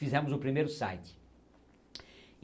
Fizemos o primeiro site.